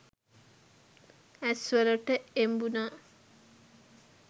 ඇස් වලට එබුණා.